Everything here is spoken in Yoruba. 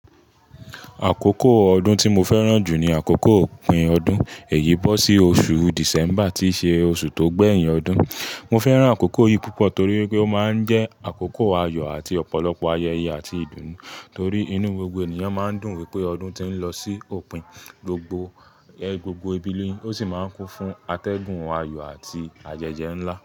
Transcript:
Àkókò ọdún tí mo fẹ́ràn jù ni àkókò òpin ọdún, èyí bọ́ sí oṣù December tí ṣe oṣù tó gbéyìn ọdún. Mo fẹ́ràn àkókò yìí púpọ̀ torí wipé ó máa ń jẹ́ àkókò ayọ̀ àti ọ̀pọ̀lọpọ̀ ayẹyẹ àti ìdùnnú torí inú gbogbo ènìyàn máa ń dùn wípé ọdún ti ń lọ sí òpin, gbogbo, ẹ́, gbogbo ìbí lò sì máa ń kún fún atẹ́gùn ayọ̀ àti àyẹyẹ ńlá.